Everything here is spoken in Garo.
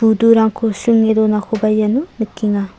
budurangko sringe donakoba iano nikenga.